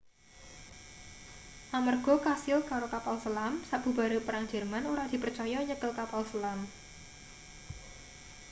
amarga kasil karo kapal selam sabubare perang jerman ora dipercaya nyekel kapal selam